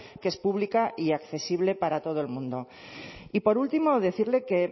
que es pública y accesible para todo el mundo y por último decirle que